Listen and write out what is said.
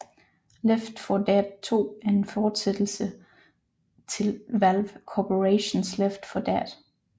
Left 4 Dead 2 er en forsættelse til Valve Corporations Left 4 Dead